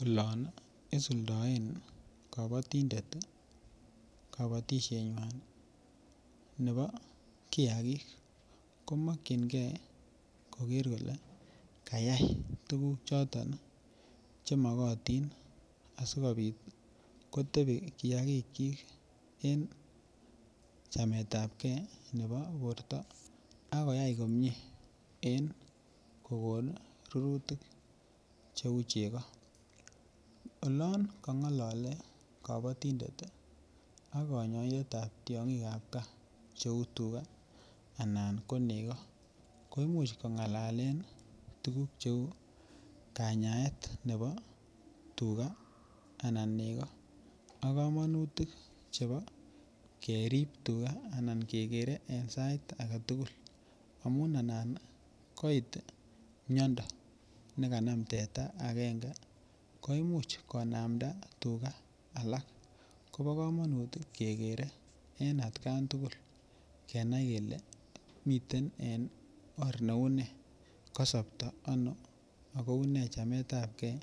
Olon isuldoen kabatindet kabatisienywan nebo kiagik ko mokyingei koger kole kayai tuguk choton Che magotin asikobit kotebi kiagikyik en chameetapgei nebo borto ak koyai en kogon rurutik cheu chego olon kongolole kabatindet ak kanyoindet ab gaa cheu tuga anan ko nego ko Imuch ko ngalalen tuguk cheu kanyaet nebo tuga anan nego ak kamanutik chebo kerib tuga anan kegere en sait age tugul amun anan koit miando ne kanam teta agenge ko Imuch konamda tuga alak kobo kamanut kegere en atkan tugul kenai kele miten en or neu ne kasapto ano ago une chameetapgei